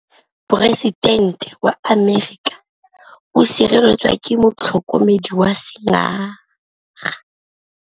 Poresitêntê wa Amerika o sireletswa ke motlhokomedi wa sengaga.